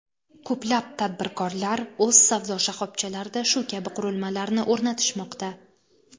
Ko‘plab tadbirkorlar o‘z savdo shoxobchalarida shu kabi qurilmalarni o‘rnatishmoqda.